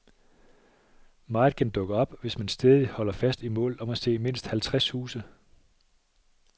Meget kan dukke op, hvis man stædigt holder fast i målet om at se mindst halvtreds huse.